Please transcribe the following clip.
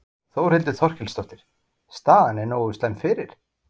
Þórhildur Þorkelsdóttir: Staðan er nógu slæm fyrir?